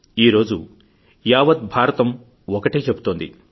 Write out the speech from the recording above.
ఈరోజు యావత్ భారతం ఒకటే చెబుతోంది